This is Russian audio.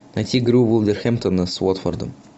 найти игру вулверхэмтона с уотфордом